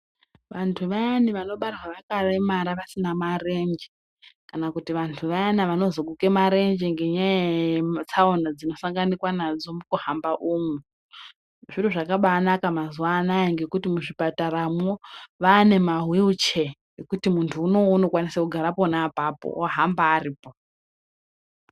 Vantu vayani vanobarwa vakaremara vasina marenje kana kuti vantu vayana vanozoguka marenje ngenyaya yetsaona dzinosanganikwa nadzo mukuhamba umu zviro zvakabanaka mazuwa anaya ngekuti muzvipataramwo vane mahwiricheya ekuti munhuwo unokwanise kugara pona apapo ohamba aripo.